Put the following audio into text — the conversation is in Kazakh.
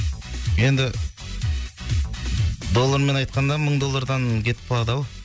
енді доллармен айтқанда мың доллардан кетіп қалады ау